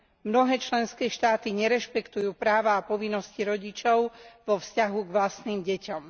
Mnohé členské štáty nerešpektujú práva a povinnosti rodičov vo vzťahu k vlastným deťom.